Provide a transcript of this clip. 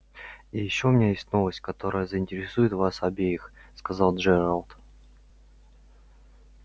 и ещё у меня есть новость которая заинтересует вас обеих сказал джералд